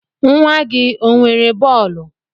Nwa gị o nwere bọọlu?